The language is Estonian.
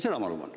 Seda ma luban.